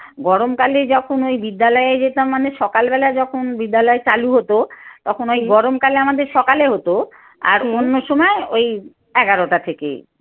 গরমকালে যখন ওই বিদ্যালয়ে যেতাম মানে সকালবেলা যখন বিদ্যালয় চালু হতো তখন ওই গরমকালে আমাদের সকালে হতো আর অন্য সময় ওই এগারোটা থেকে।